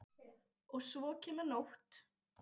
Og svo kemur nótt.